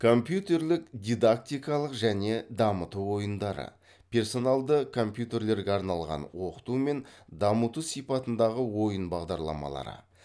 компьютерлік дидактикалық және дамыту ойындары персоналды компьютерлерге арналған оқыту мен дамыту сипатындагы ойын бағдарламалары